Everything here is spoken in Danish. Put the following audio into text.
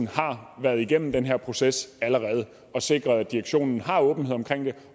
har været igennem den her proces og sikret at direktionen har åbenhed omkring det